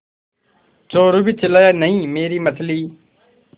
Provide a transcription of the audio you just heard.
चोरु भी चिल्लाया नहींमेरी मछली